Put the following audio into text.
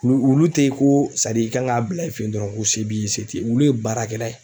Wu wulu tɛ ye ko sadi i kan k'a bila i fɛ ye dɔrɔn ko se b'i ye se t'i ye wulu ye baarakɛlan ne ye.